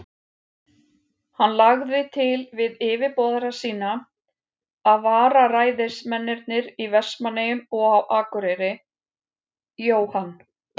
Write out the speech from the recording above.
Hann lagði til við yfirboðara sína, að vararæðismennirnir í Vestmannaeyjum og á Akureyri, Jóhann